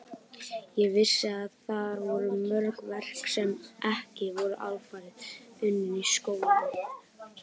Ég vissi að þar voru mörg verk sem ekki voru alfarið unnin í skólanum.